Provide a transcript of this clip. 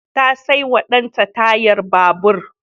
Ta saiwa danta tayar babur.